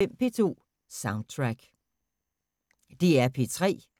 DR P3